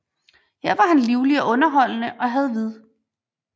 Her var han livlig og underholdende og havde vid